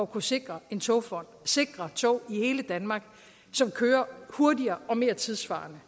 kunne sikre en togfond og sikre tog i hele danmark som kører hurtigere og mere tidssvarende